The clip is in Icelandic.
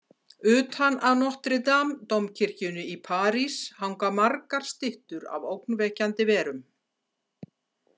Utan á Notre Dame-dómkirkjunni í París hanga margar styttur af ógnvekjandi verum.